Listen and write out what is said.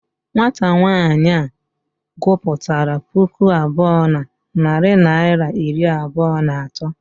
Nwata nwaanyị a gụpụtara puku abụọ na narị naịra iri abụọ na atọ.